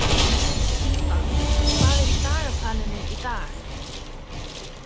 Líba, hvað er í dagatalinu í dag?